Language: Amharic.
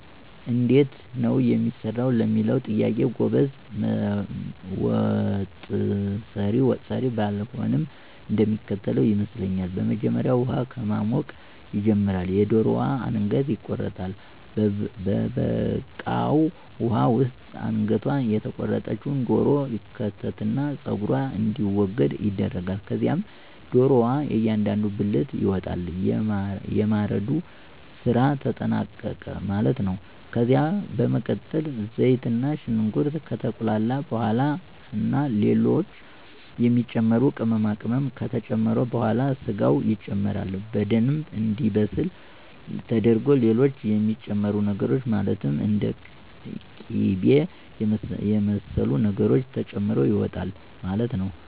እንዴት ነው የሚሰራው ለሚለው ጥያቄ ጎበዝ ወጠሰሪ ባልሆንም እንደሚከተለው ይመስለኛል። በመጀመሪያ ውሃ ከማሞቅ ይጀመራል፤ የደሮዋ አንገት ይቆረጣል፤ በበቃው ውሃ ውስጥ አንገቷ የተቆረጠች ዶሮ ይከተትና ፀጉሯ እንዲወገድ ይደረጋል። ከዛም ዶሮዋ እያንዳንዱ ብልት ይወጣል። የማረዱ ስራ ተጠናቀቀ ማለት ነው። ከዛ በመቀጠል ዘይትና ሽንኩርት ከተቁላላ በኋላ ና ሌሎች የሚጨመሩ ቅመማቅመም ከተጨመረ በኋላ ስጋው ይጨመራል። በደምብ እንዲበስል ተደርጎ ሌሎች የሚጨመሩ ነገሮች ማለትም እንደ ቂበ የመሰሉ ነገሮች ተጨምሮ ይወጣል ማለት ነው።